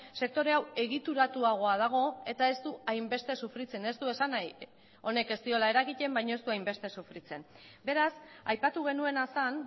sektore hau egituratuagoa dago eta ez du hainbeste sufritzen ez du esan nahi honek ez diola eragiten baina ez du hainbeste sufritzen beraz aipatu genuena zen